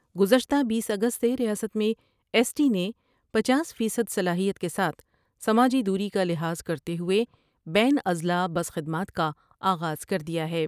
گزشتہ بیس اگست سے ریاست میں ایس ٹی نے پنچاس فیصد صلاحیت کے ساتھ سماجی دوری کا لحاظ کر تے ہوۓ بین اضلاع بس خد مات کا آغاز کر دیا ہے ۔